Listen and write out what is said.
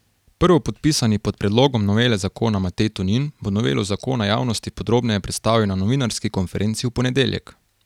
Prvopodpisani pod predlogom novele zakona Matej Tonin bo novelo zakona javnosti podrobneje predstavil na novinarski konferenci v ponedeljek.